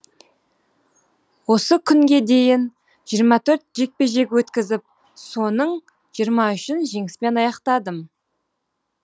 осы күнге дейін жиырма төрт жекпе жек өткізіп соның жиырма үшін жеңіспен аяқтадым